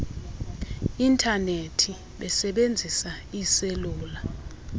intanethi besebenzisa iiselula